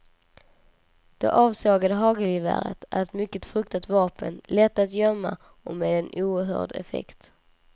Det avsågade hagelgeväret är ett mycket fruktat vapen, lätt att gömma och med en oerhörd effekt.